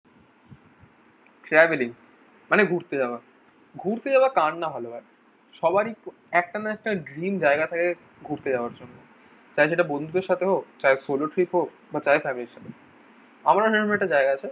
সেয়াবেলি মানে ঘুরতে যাওয়া। ঘুরতে যাওয়া কার না ভালো লাগে। সবারই একটা না একটা ড্রিম জায়গা থাকে ঘুরতে যাওয়ার জন্য। তাই সেটা বন্ধুদের সাথে হোক চায় solo trip হোক বা চায় ফ্যামিলির সঙ্গে আমারও এরকম একটা জায়গা আছে।